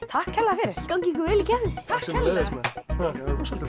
takk kærlega fyrir gangi ykkur vel í keppninni takk sömuleiðis rosalega